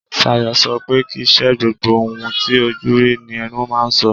Sayo, so pe kìí ṣe gbogbo ohun ti ojú rí ní ẹnu máa ń so.